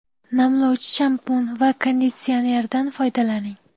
Namlovchi shampun va konditsionerdan foydalaning.